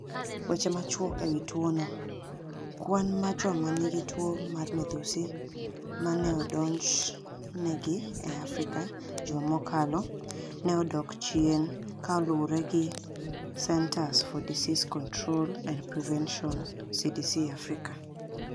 Weche machuok e wi tuono Kwani mar joma niigi tuo mar midhusi ma ni e odonijni egi e Afrika e juma mokalo ni e odok chieni kaluwore gi Ceniters for Disease Conitrol anid Prevenitioni (CDC Africa).